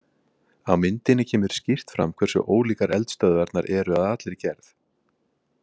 Á myndinni kemur skýrt fram hversu ólíkar eldstöðvarnar eru að allri gerð.